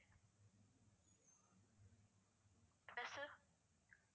buses